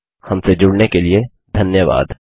हमसे जुड़ने के लिए धन्यवाद